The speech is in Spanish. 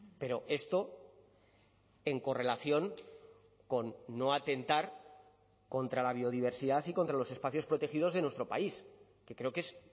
pero esto en correlación con no atentar contra la biodiversidad y contra los espacios protegidos de nuestro país que creo que es